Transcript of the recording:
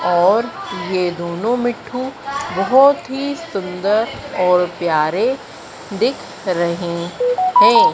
और ये दोनों मिट्ठू बहोत ही सुंदर और प्यारे दिख रहे हैं।